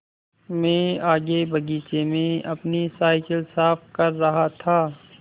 मैं आगे बगीचे में अपनी साईकिल साफ़ कर रहा था